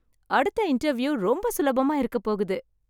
அடுத்த இன்டர்வியூ ரொம்ப சுலபமா இருக்க போகுது